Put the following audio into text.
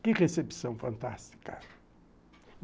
Que recepção fantástica.